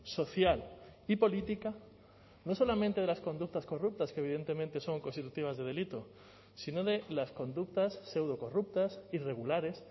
social y política no solamente de las conductas corruptas que evidentemente son constitutivas de delito sino de las conductas seudocorruptas irregulares